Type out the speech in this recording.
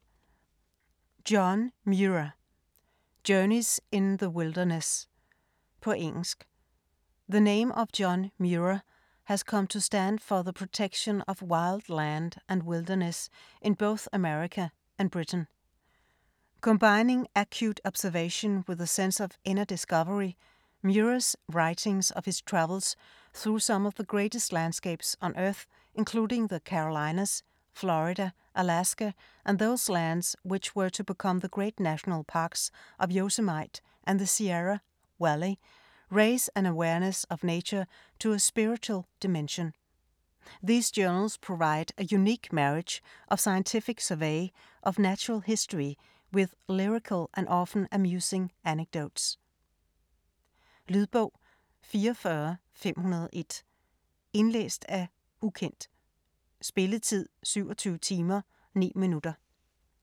Muir, John: Journeys in the wilderness På engelsk. The name of John Muir has come to stand for the protection of wild land and wilderness in both America and Britain. Combining acute observation with a sense of inner discovery, Muir's writings of his travels through some of the greatest landscapes on Earth, including the Carolinas, Florida, Alaska and those lands which were to become the great National Parks of Yosemite and the Sierra Valley, raise an awareness of nature to a spiritual dimension. These journals provide a unique marriage of scientific survey of natural history with lyrical and often amusing anecdotes. Lydbog 44501 Indlæst af ukendt Spilletid: 27 timer, 9 minutter.